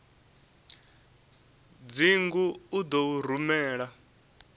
dzingu u ḓo u rumela